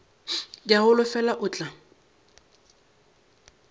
ke a holofela o tla